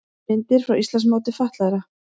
Myndir frá Íslandsmóti fatlaðra